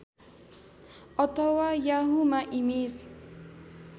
अथवा याहुमा इमेज